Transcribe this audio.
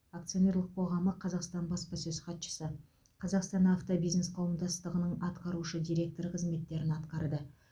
акционерлік қоғамы қазақстан баспасөз хатшысы қазақстан автобизнес қауымдастығының атқарушы директоры қызметтерін атқарды